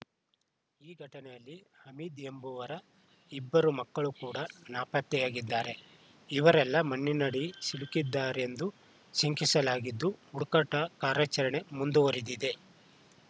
ಈ ಘಟನೆಯಲ್ಲಿ ಹಮೀದ್‌ ಎಂಬುವರ ಇಬ್ಬರು ಮಕ್ಕಳು ಕೂಡಾ ನಾಪತ್ತೆಯಾಗಿದ್ದಾರೆ ಇವರೆಲ್ಲ ಮಣ್ಣಿನಡಿ ಸಿಲುಕಿದ್ದಾರೆಂದು ಶಂಕಿಸಲಾಗಿದ್ದು ಹುಡುಕಾಟ ಕಾರ್ಯಾಚರಣೆ ಮುಂದುವರಿದಿದೆ